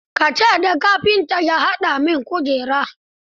Ka ce da kafinta ya haɗa min kujera.